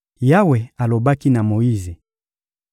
Yawe alobaki na Moyize: